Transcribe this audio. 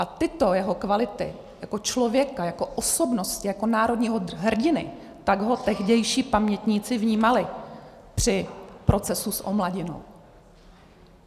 A tyto jeho kvality jako člověka, jako osobnosti, jako národního hrdiny, tak ho tehdejší pamětníci vnímali při procesu s Omladinou.